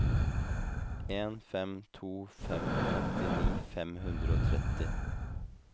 en fem to fem femtini fem hundre og tretti